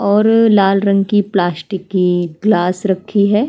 और लाल रंग की प्लास्टिक की ग्लास रखी हैं।